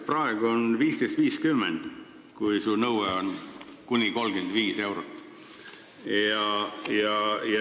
Praegu on kohtutäituri tasu 15.50, kui su nõue on kuni 35 eurot.